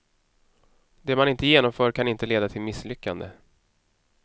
Det man inte genomför kan inte leda till misslyckande.